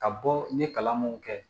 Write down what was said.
Ka bɔ n ye kalan mun kɛ